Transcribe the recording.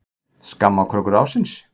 Skammarkrókur ársins?